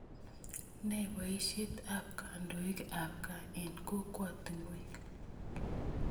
Ne poisyet ap kandoik ap kipkaa eng' kokwatinwek?